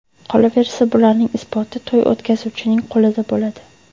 Qolaversa, bularning isboti to‘y o‘tkazuvchining qo‘lida bo‘ladi.